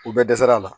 U bɛɛ dɛsɛra a la